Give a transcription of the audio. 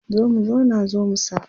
zo mu zauna zo mu saba